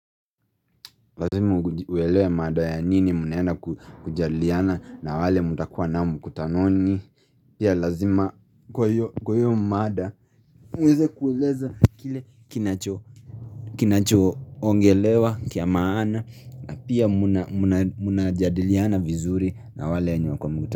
Lazima uelewe mada ya nini mnaenda kujadiliana na wale mtakuwa nao mkutanoni Pia lazima kwa hiyo mada mweze kueleza kile kinacho ongelewa cha maana na pia muna jadiliana vizuri na wale wenye wako mkutanoni.